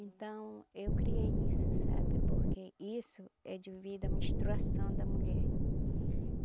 Então, eu criei isso, sabe, porque isso é devido à menstruação da mulher.